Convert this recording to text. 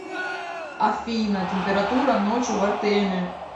афина температура ночью в артеме